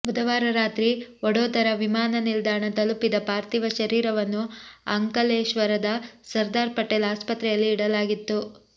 ಬುಧವಾರ ರಾತ್ರಿ ವಡೋದರಾ ವಿಮಾನ ನಿಲ್ದಾಣ ತಲುಪಿದ ಪಾರ್ಥಿವ ಶರೀರವನ್ನು ಅಂಕಲೇಶ್ವರದ ಸರ್ದಾರ್ ಪಟೇಲ್ ಆಸ್ಪತ್ರೆಯಲ್ಲಿ ಇಡಲಾಗಿತ್ತು